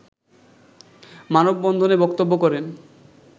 মানববন্ধনে বক্তব্য করেন